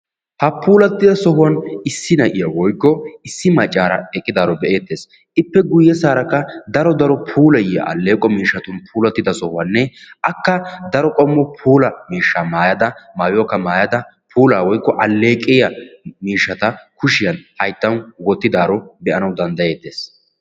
Ha puulattida sohuwaan issi na'iyaa woykko issi maccaara eqqidaaro be'eettees. ippe guyessaara daro daro puulayiyaa alleeqo miishshatun puulattida sohuwaaninne akka daro qommo puula miishshaa maayada maayuwaakka maayada puulaa woykko alleqiyaa miishshata kushiyaan hayttaan wottidaaro be"ana danddayettees.